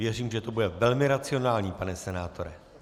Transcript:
Věřím, že to bude velmi racionální, pane senátore.